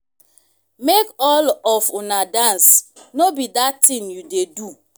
make all of una dance no be dat thing you dey do